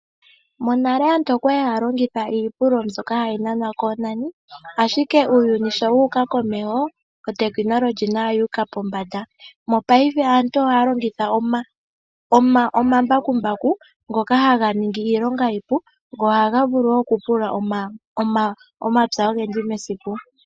Monale aantu okwali haa longitha iipululo mbyoka hayi nanwa koonani, ashike uuyuni sho wu uka komeho, uutekinolohi nawo owu uka pombanda. Mopaife aantu ohaa longitha omambakumbaku, ngoka haga ningi iilonga iipu, go ohaga vulu okupulula omapya ogendji mesiku.